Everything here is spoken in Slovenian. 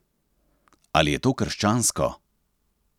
Ali je to krščansko?